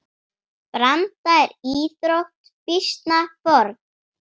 Branda er íþrótt býsna forn.